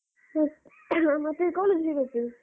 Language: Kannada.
ಆ caugh ಮತ್ತೆ college re-open .